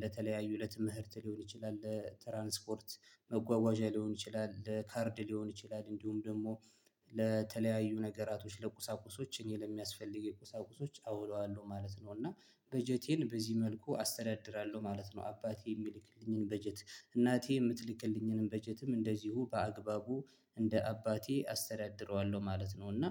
ለተለያዩ ለትምህርት ሊሆን ይችላል ለትራንስፖርት መጓጓዣ ሊሆን ይችላል ለካርድ ሊሆን ይችላል እንዲሁም ደሞ ለተለያዩ ነገራቶች ለቁሳቁሶች እኔ ለሚያስፈልገኝ ቁሳቁሶች አውለዋለሁ ማለት ነው። እና በጀቴን በዚህ መልኩ አስተዳድራለሁ ማለት ነው። አባቴ የሚልክልኝን በጀት እናቴ የምትልክልኝንም በጀትም እንደዚሁ በአግባቡ እንደ አባቴ አስተዳድረዋለሁ ማለት ነው። እና